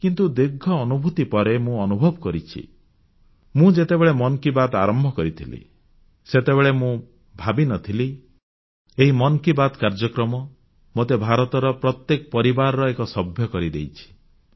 କିନ୍ତୁ ଏତେ ଦୀର୍ଘ ଅନୁଭୂତି ପରେ ମୁଁ ଅନୁଭବ କରୁଛି ଯେ ମୁଁ ଯେତେବେଳେ ମନ୍ କି ବାତ୍ ଆରମ୍ଭ କରିଥିଲି ସେତେବେଳେ ମୁଁ ଭାବିନଥିଲି ଏହି ମନ୍ କି ବାତ୍ କାର୍ଯ୍ୟକ୍ରମ ମୋତେ ଭାରତର ପ୍ରତ୍ୟେକ ପରିବାରର ଏକ ସଭ୍ୟ କରିଦେଇଛି